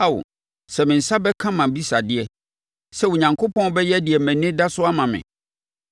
“Ao sɛ me nsa bɛka mʼabisadeɛ, sɛ Onyankopɔn bɛyɛ deɛ mʼani da so ama me.